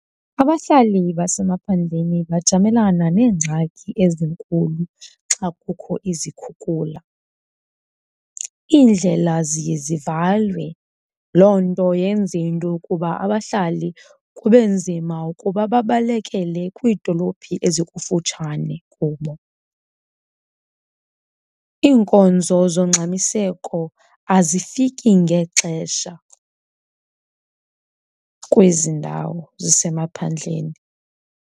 Abahlali basemaphandleni bajamelana neengxaki ezinkulu xa kukho izikhukhula. Iindlela ziye zivalwe loo nto yenze into yokuba abahlali kube nzima ukuba babalekele kwiidolophi ezikufutshane kubo. Iinkonzo zongxamiseko azifiki ngexesha kwezi ndawo zisemaphandleni.